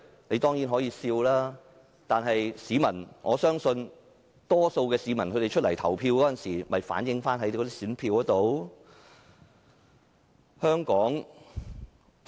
你當然可以笑，但我相信可以從市民投下的選票找出答案。